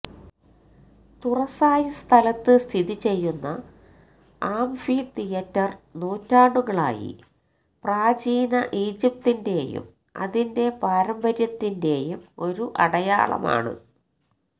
തുറസായ സ്ഥലത്ത് സ്ഥിതി ചെയ്യുന്ന ആംഫി തിയേറ്റര് നൂറ്റാണ്ടുകളായി പ്രാചീന ഈജിപ്തിന്റെയും അതിന്റെ പാരമ്പര്യത്തിന്റെയും ഒരു അടയാളമാണ്